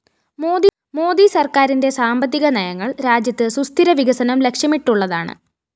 മോദി സര്‍ക്കാരിന്റെ സാമ്പത്തിക നയങ്ങള്‍ രാജ്യത്ത് സുസ്ഥിര വികസനം ലക്ഷ്യമിട്ടുള്ളതാണ്